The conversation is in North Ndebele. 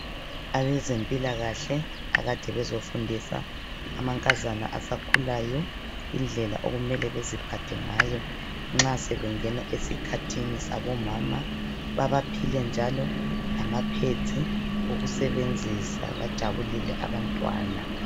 Abezempilakahle akade bezofundisa amankazana asakhulayo indlela okumele beziphathe ngayo nxa sebengena esikhathini sabomama. Babaphile njalo lamapads okusebenzisa. Bajabulile abantwana.